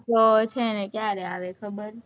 તો છે ને કયારે આવે ખબર